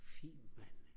fint mand